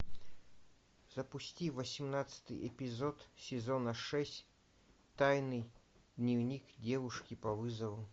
запусти восемнадцатый эпизод сезона шесть тайный дневник девушки по вызову